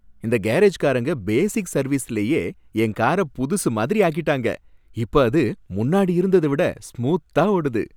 இந்த கேரேஜ்காரங்க பேசிக் சர்வீஸுலயே என் கார புதுசூ மாதிரி ஆக்கிட்டாங்க, இப்ப அது முன்னாடி இருந்தத விட ஸ்மூத்தா ஓடுது.